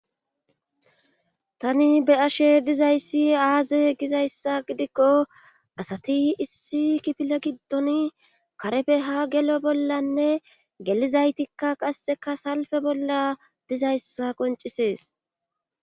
tani be ashe dizayssi aaze gizayssa gidikko asati issi kipile giddon karefe ha gelo bollanne gelizaytikka qasseka salfe bolla dizayssa qoncisees.